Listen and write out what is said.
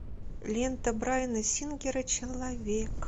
лента брайана сингера человек